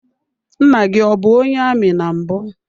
Nna gị ọ bụ onye amị na mbụ.